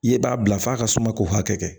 I ye b'a bila f'a ka suma ko hakɛ kɛ